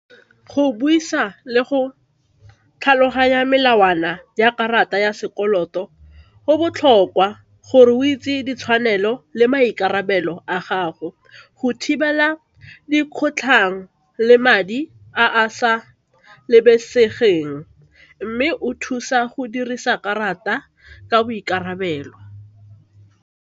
Go buisa le go tlhaloganya melawana ya karata ya sekoloto go botlhokwa gore o itse ditshwanelo le maikarabelo a gago go thibela di kgotlhang le madi a a sa mme o thusa go dirisa karata ka boikarabelo.